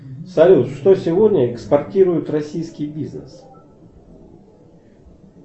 салют что сегодня экспортирует российский бизнес